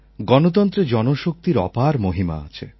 গণতন্ত্রে জনশক্তির অপার মহিমা আছে